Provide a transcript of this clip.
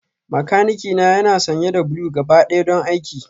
Makanikina yana sanye da blue gabaɗaya don aiki